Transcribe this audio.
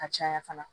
Ka caya fana